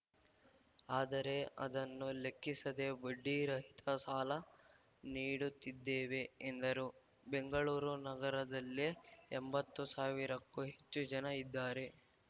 ಆದರೆ ಅದನ್ನು ಲೆಕ್ಕಿಸದೆ ಬಡ್ಡಿ ರಹಿತ ಸಾಲ ನೀಡುತ್ತಿದ್ದೇವೆ ಎಂದರು ಬೆಂಗಳೂರು ನಗರದಲ್ಲೇ ಎಂಬತ್ತು ಸಾವಿರಕ್ಕೂ ಹೆಚ್ಚು ಜನ ಇದ್ದಾರೆ